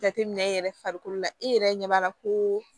Jateminɛ yɛrɛ farikolo la e yɛrɛ ɲɛ b'a la koo